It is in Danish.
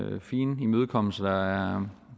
nogle fine imødekommelser